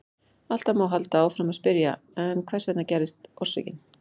Alltaf má halda áfram að spyrja: En hvers vegna gerðist orsökin?